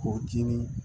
K'o dii